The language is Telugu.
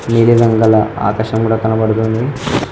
నీలి రంగల ఆకాశం కూడ కనబడుతుంది.